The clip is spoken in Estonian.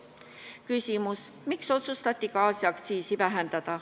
Küsimus: miks otsustati gaasiaktsiisi alandada?